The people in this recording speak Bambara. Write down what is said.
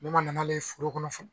Ne ma na n'ale foro kɔnɔ